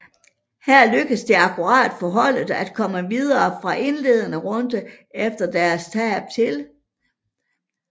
Her lykkedes det akkurat for holdet at komme videre fra indledende runde efter tab til